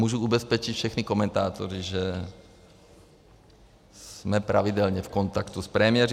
Můžu ubezpečit všechny komentátory, že jsme pravidelně v kontaktu s premiéry.